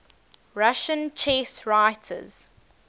russian chess writers